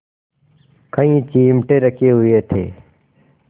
कई चिमटे रखे हुए थे